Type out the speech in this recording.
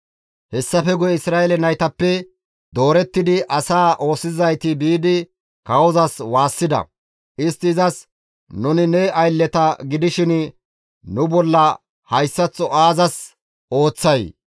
Hessafe guye Isra7eele naytappe doorettidi asaa oosisizayti biidi kawozas waassida; istti izas, «Nuni ne aylleta gidishin nu bolla hayssaththo aazas ooththay?